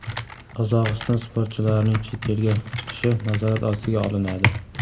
Qozog‘iston sportchilarining chet elga chiqishi nazorat ostiga olinadi.